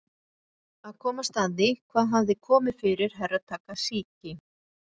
Að komast að því hvað hafði komið fyrir Herra Takashi.